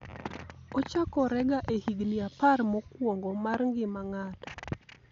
ochakorega e higni apar mokwongo mar ngima ng'ato